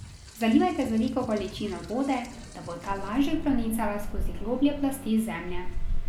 Zalivajte z veliko količino vode, da bo ta lažje pronicala skozi globlje plasti zemlje.